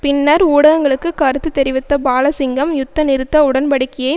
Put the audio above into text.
பின்னர் ஊடகங்களுக்கு கருத்து தெரிவித்த பாலசிங்கம் யுத்த நிறுத்த உடன்படிக்கையை